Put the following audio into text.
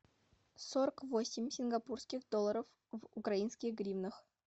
сорок восемь сингапурских долларов в украинских гривнах